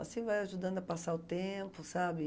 Assim vai ajudando a passar o tempo, sabe?